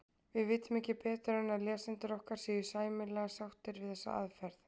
við vitum ekki betur en að lesendur okkar séu sæmilega sáttir við þessa aðferð